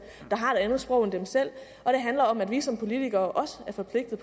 der har et andet sprog end dem selv og det handler om at vi som politikere også er forpligtet